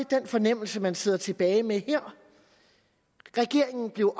den fornemmelse man sidder tilbage med her regeringen blev